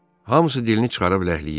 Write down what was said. Hamısı dilini çıxarıb ləhləyirdi.